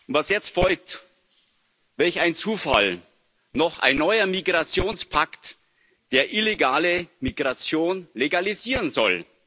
Was jetzt folgt welch ein Zufall noch ein neuer Migrationspakt, der illegale Migration legalisieren soll.